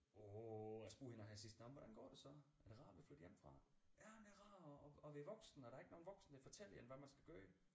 Åh og jeg spurgte hende også her sidst nåh men hvordan går det så er det rart at være flyttet hjemmefra ja men det er rart at at være voksen og der er ikke nogle voksne der fortæller en hvad man skal gøre